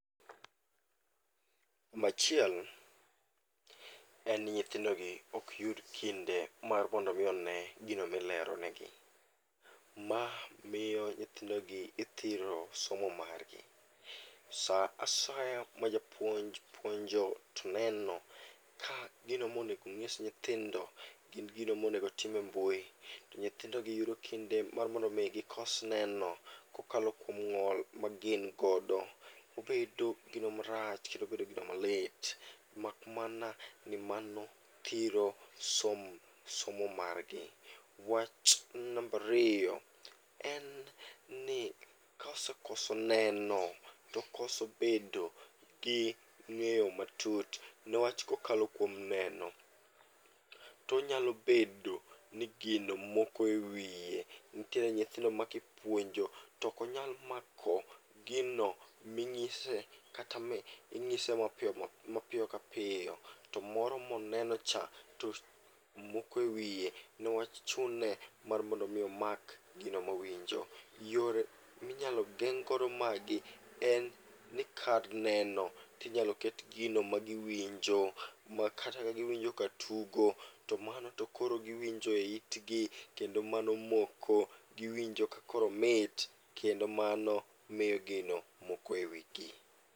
Nambachiel en ni nyithindogi ok yud kinde mar mondo mi one gino milerone gi. Ma miyo nyithindogi ithiro somo margi. Sa asaya ma japuonj puonjo toneno ka gino monego ng'is nyithindo gin gino monego time mbui, to nyithindogi yudo kinde mar mondo mi gikos neno kokalo kuom ng'ol ma gin godo. Obedo gino marach kendo obedo gino malit, mak mana ni mano thiro som, somo margi. Wach nambariyo en ni kaosekoso neno tokoso bedo gi ng'eyo matut, niwach kokalo kuom neno tonyalo bedo ni gino moko e wiye. Nitiere nyithindo ma kipuonjo, tokonyal mako gino ming'ise kata mi ing'ise mapiyo kapiyo. To moro moneno cha to moko e wiye, niwach chune mondo mi omak gino mowinjo. Yore minyalo geng' godo magi en ni kar neno tinyalo ket gino magiwinjo, ma kata ka giwinjo ka tugo to mano tokoro giwinjo e itgi. Kendo mano moko, giwinjo ka koro omit kendo mano miyo gino moko e wigi.